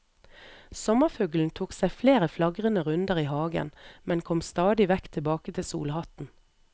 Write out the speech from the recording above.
Sommerfuglen tok seg flere flagrende runder i hagen, men kom stadig vekk tilbake til solhatten.